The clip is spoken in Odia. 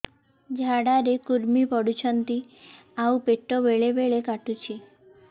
ଝାଡା ରେ କୁର୍ମି ପଡୁଛନ୍ତି ଆଉ ପେଟ ବେଳେ ବେଳେ କାଟୁଛି